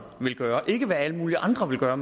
vil gøre ikke hvad alle mulige andre vil gøre